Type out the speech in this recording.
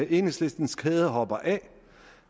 enhedslistens kæde hopper af